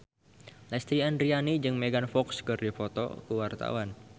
Lesti Andryani jeung Megan Fox keur dipoto ku wartawan